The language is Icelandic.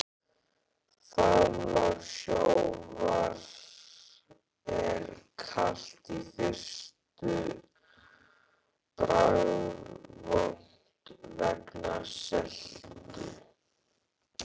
Faðmlag sjávar er kalt í fyrstu og bragðvont vegna seltu.